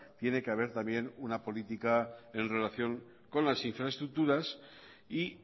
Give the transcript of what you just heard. tiene que haber también una política en relación con las infraestructuras y